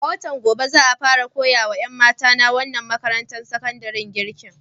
Daga watan gobe za a fara koya wa ƴan mata na wannan makarantar sakandaren girki.